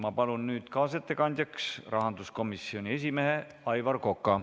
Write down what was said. Ma palun kaasettekandjaks rahanduskomisjoni esimehe Aivar Koka!